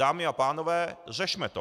Dámy a pánové, řešme to.